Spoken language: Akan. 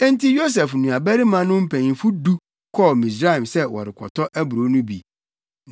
Enti Yosef nuabarimanom mpanyimfo du no kɔɔ Misraim sɛ wɔrekɔtɔ aburow no bi.